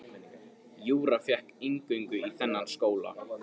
Júra fékk inngöngu í þennan skóla.